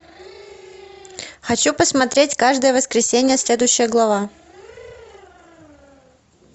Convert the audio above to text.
хочу посмотреть каждое воскресенье следующая глава